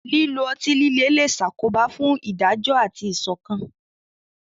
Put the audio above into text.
Lílo ọtí líle lè ṣàkóbá fún ìdájọ́ àti ìṣọ̀kan.